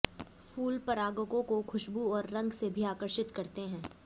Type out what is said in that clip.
फूल परागकों को खुशबू और रंग से भी आकर्षित करते हैं